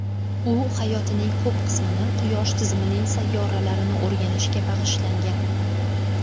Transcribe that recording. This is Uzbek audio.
U hayotining ko‘p qismini quyosh tizimining sayyoralarini o‘rganishga bag‘ishlangan.